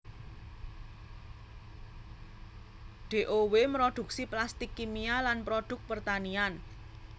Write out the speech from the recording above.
Dow mroduksi plastik kimia lan produk pertanian